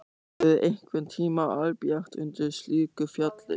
Verður einhverntíma albjart undir slíku fjalli?